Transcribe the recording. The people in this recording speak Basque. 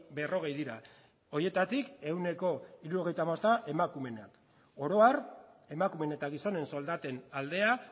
berrogei dira horietatik ehuneko hirurogeita hamabosta emakumeenak oro har emakumeen eta gizonen soldaten aldea